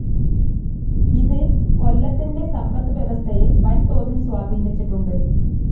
ഇത് കൊല്ലത്തിന്റെ സമ്പത്ത് വ്യവസ്ഥയെ വൻ‌തോതിൽ സ്വാധീനിച്ചിട്ടുണ്ട്.